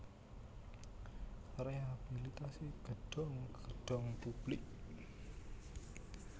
Rehabilitasi gedhong gedhong publik